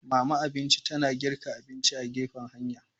Mama abinci ta na girka abinci a gefen hanya.